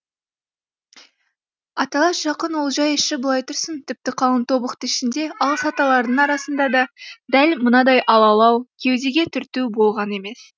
аталас жақын олжай іші былай тұрсын тіпті қалың тобықты ішінде алыс аталардың арасында да дәл мынадай алалау кеудеге түрту болған емес